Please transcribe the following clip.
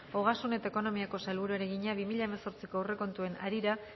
ogasun eta ekonomiako sailburuari egina bi mila hemezortziko aurrekontuen harira